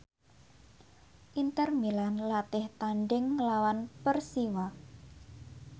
Inter Milan latih tandhing nglawan Persiwa